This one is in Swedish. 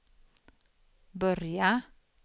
börja